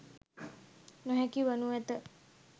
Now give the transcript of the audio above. නොහැකි වනු ඇත.